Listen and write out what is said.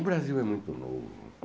O Brasil é muito novo.